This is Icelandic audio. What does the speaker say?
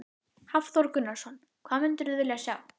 Hafþór Gunnarsson: Hvað mundirðu vilja sjá?